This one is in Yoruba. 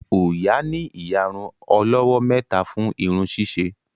Oya ní iyàrun olówó méta fún irun ṣiṣe